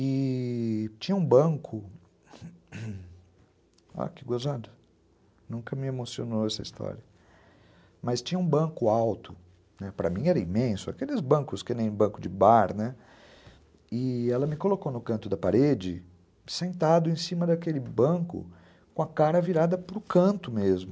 E... tinha um banco, olha que gozada, nunca me emocionou essa história, mas tinha um banco alto, para mim era imenso, aqueles bancos que nem banco de bar, né, e ela me colocou no canto da parede, sentado em cima daquele banco, com a cara virada para o canto mesmo.